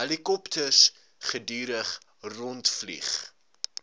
helikopters gedurig rondvlieg